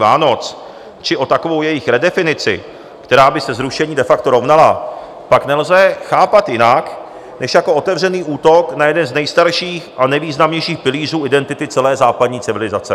Vánoc či o takovou jejich redefinici, která by se zrušení de facto rovnala, pak nelze chápat jinak než jako otevřený útok na jeden z nejstarších a nejvýznamnějších pilířů identity celé západní civilizace.